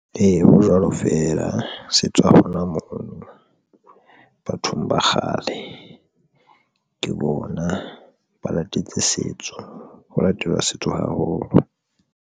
Ee, ho jwalo fela se tswa hona mona. Bathong ba kgale ke bona ba latetse setso ho latela setso haholo.